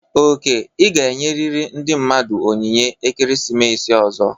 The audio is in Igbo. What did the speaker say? Oke, ị ga-enyerịrị ndị mmadụ onyinye ekeresimesi ọzọ!